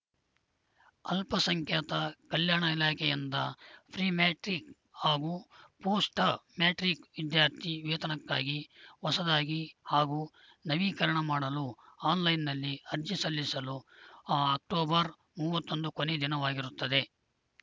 ಅಲ್ಪಸಂಖ್ಯಾತ ಕಲ್ಯಾಣ ಇಲಾಖೆಯಿಂದ ಪ್ರಿಮ್ಯಾಟ್ರಿಕ್‌ ಹಾಗೂ ಪೋಸ್ಟ್‌ಮ್ಯಾಟ್ರಿಕ್‌ ವಿದ್ಯಾರ್ಥಿ ವೇತನಕ್ಕಾಗಿ ಹೊಸದಾಗಿ ಹಾಗೂ ನವೀಕರಣ ಮಾಡಲು ಆನ್‌ಲೈನ್‌ನಲ್ಲಿ ಅರ್ಜಿ ಸಲ್ಲಿಸಲು ಅ ಅಕ್ಟೋಬರ್ ಮೂವತ್ತೊಂದು ಕೊನೆ ದಿನವಾಗಿರುತ್ತದೆ